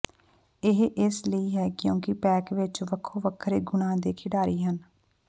ਇਹ ਇਸ ਲਈ ਹੈ ਕਿਉਂਕਿ ਪੈਕ ਵਿਚ ਵੱਖੋ ਵੱਖਰੇ ਗੁਣਾਂ ਦੇ ਖਿਡਾਰੀ ਹਨ